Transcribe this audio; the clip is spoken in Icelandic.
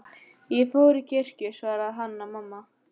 Ég fór í kirkju, svaraði Hanna-Mamma.